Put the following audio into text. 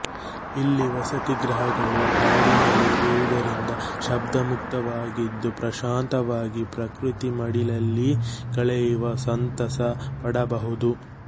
ಇಲ್ಲಿ ವಸತಿ ಗೃಹ ಗಳು ಕಾಡಿನಲ್ಲಿ ಇರುವದರಿಂದ ಶಬ್ದ ಮುಕ್ತ ವಾಗಿದ್ದು ಪ್ರಶಾಂತವಾಗಿ ಪ್ರಕೃತಿ ಮಡಿಲಲ್ಲಿ ಕಳೆಯುವ ಸಂತಸ ಪಡಬಹುದು